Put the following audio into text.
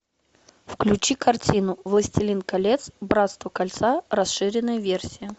включи картину властелин колец братство кольца расширенная версия